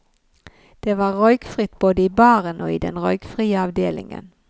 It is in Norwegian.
Det var røykfritt både i baren og i den røykfrie avdelingen.